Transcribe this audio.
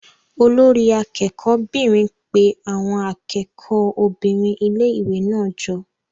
Olori akẹ́kọ̀ọ́ 'bìnrin pe àwọn akẹ́kọ̀ọ́ obìnrin ilé-ìwé náà jọ.